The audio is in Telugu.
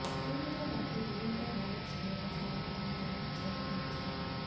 దీనితో పాటు థియేటర్ రైట్స్ కూడా చాలా మంచి ధర వచ్చేలా కనిపిస్తుంది